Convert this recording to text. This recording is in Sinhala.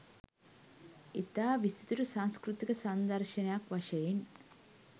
ඉතා විසිතුරු සංස්කෘතික සංදර්ශයක් වශයෙන්